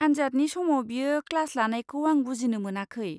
आन्जादनि समाव बियो क्लास लानायखौ आं बुजिनो मोनाखै।